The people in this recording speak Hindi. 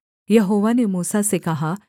यहोवा ने मूसा से कहा